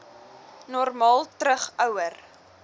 normaal terug ouer